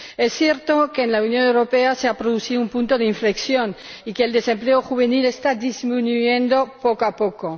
Es cierto que en la Unión Europea se ha producido un punto de inflexión y que el desempleo juvenil está disminuyendo poco a poco.